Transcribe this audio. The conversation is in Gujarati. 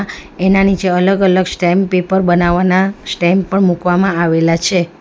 એના નીચે અલગ અલગ સ્ટેમ્પ પેપર બનાવવાના સ્ટેમ્પ પણ મૂકવામાં આવેલા છે.